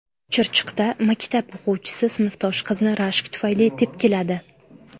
Chirchiqda maktab o‘quvchisi sinfdosh qizni rashk tufayli tepkiladi .